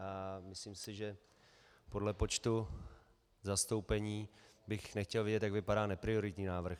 A myslím si, že podle počtu zastoupení bych nechtěl vidět, jak vypadá neprioritní návrh.